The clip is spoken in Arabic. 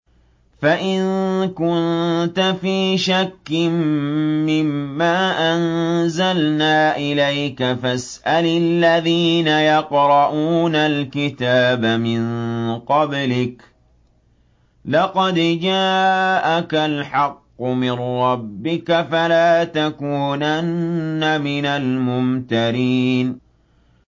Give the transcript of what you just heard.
فَإِن كُنتَ فِي شَكٍّ مِّمَّا أَنزَلْنَا إِلَيْكَ فَاسْأَلِ الَّذِينَ يَقْرَءُونَ الْكِتَابَ مِن قَبْلِكَ ۚ لَقَدْ جَاءَكَ الْحَقُّ مِن رَّبِّكَ فَلَا تَكُونَنَّ مِنَ الْمُمْتَرِينَ